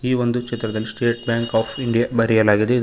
ಈ ಒಂದು ಚಿತ್ರದಲ್ಲಿ ಸ್ಟೇಟ್ ಬ್ಯಾಂಕ್ ಆಪ್ ಇಂಡಿಯಾ ಬರೆಯಲಾಗಿದೆ ಇದ--